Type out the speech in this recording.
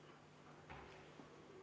EKRE fraktsiooni võetud vaheaeg on lõppenud.